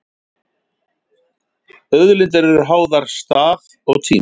Auðlindir eru háðar stað og tíma.